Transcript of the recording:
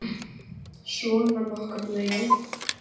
Svona nokkurn veginn.